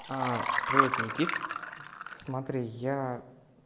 привет никита смотри я